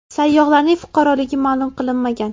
Sayyohlarning fuqaroligi ma’lum qilinmagan.